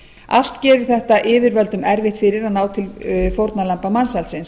allt gerir þetta yfirvöldum erfitt fyrir að ná til fórnarlamba mansalsins